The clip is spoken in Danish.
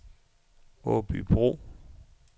Aabybro